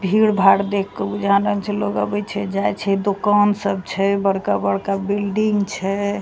भीड़-भाड़ देख के बुझा न छे लोग आवी छे जाई छे दुकान सब छे बड़का-बड़का बिल्डिंग छे।